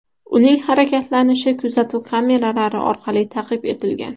Uning harakatlanishi kuzatuv kameralari orqali taqib etilgan.